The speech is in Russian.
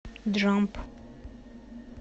джамп